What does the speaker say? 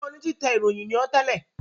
Njẹ òní títè ìròyìn ní ọ́ tẹlẹ?